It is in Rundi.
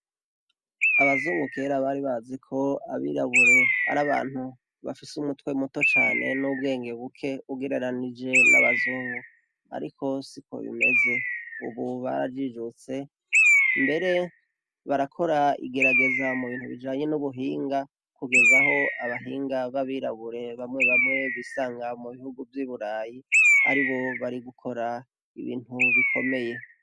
Abazungu kera bari bazi ko abirabure ari abantu bafise umutwe muto cane n'ubwenge buke ugereranije n'abazungu, ariko siko bimeze. Ubu barajijutse, mbere barakora igerageza mu bintu bijanye n'ubuhinga, kugeza aho abahinga b'abirabure bamwe bamwe bisanga mu bihugu vy'i burayi, ari bo bari gukora ibintu bikomeye.